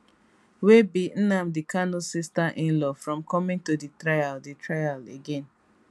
wey bi nnamdi kanu sister inlaw from coming to di trial di trial again